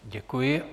Děkuji.